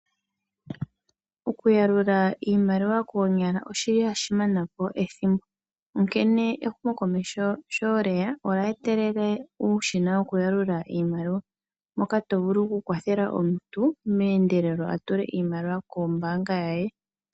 Okuyalula iimaliwa koonyala oshi li hashi mana po ethimbo, onkene ehumokomeho sho lye ya olya etelele uushina wokuyalula iimaliwa, moka to vulu okukwathela omuntu meendelelo a tule iimaliwa kombaanga ye.